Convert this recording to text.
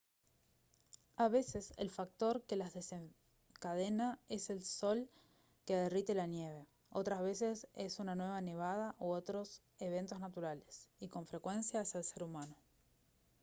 a veces el factor que las desencadena es el sol que derrite la nieve otras veces es una nueva nevada u otros eventos naturales y con frecuencia es el ser humano